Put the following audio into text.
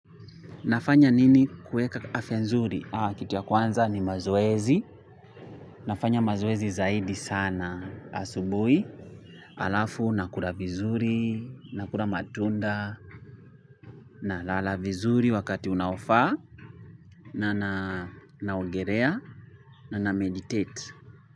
Nafanya nini kueka afya nzuri kitu ya kwanza ni mazoezi nafanya mazoezi zaidi sana asubuhi halafu na kula vizuri na kula matunda na lala vizuri wakati unaofaa na na ogelea na na meditate.